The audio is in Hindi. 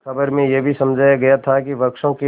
खबर में यह भी समझाया गया था कि वृक्षों के